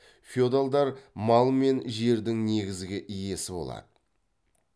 феодалдар мал мен жердің негізгі иесі болады